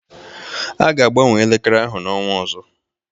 A ga-agbanwe elekere ahụ n'ọnwa ọzọ.